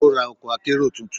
Ó ra ọkọ̀ akérò tuntun.